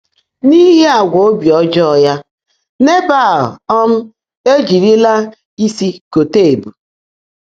N’íhí àgwà óbí ọ́jọ́ọ́ yá, Nèbã́l um éjị́rílá ísi kọ́tá ébú.